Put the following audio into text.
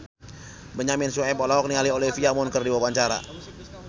Benyamin Sueb olohok ningali Olivia Munn keur diwawancara